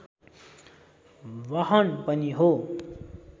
वाहन पनि हो